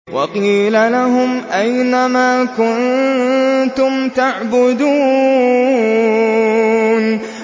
وَقِيلَ لَهُمْ أَيْنَ مَا كُنتُمْ تَعْبُدُونَ